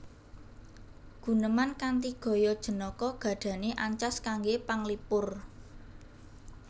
Guneman kanthi gaya jenaka gadhahi ancas kangge panglipur